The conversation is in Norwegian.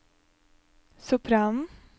sopranen